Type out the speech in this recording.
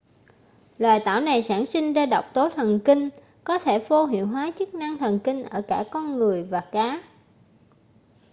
loài tảo này sản sinh ra độc tố thần kinh có thể vô hiệu hóa chức năng thần kinh ở cả con người và cá